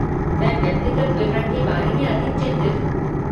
मैं व्यक्तिगत विवरण के बारे में अधिक चिंतित हूँ।